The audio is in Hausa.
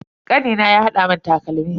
Kanina ya hada mun takalmi.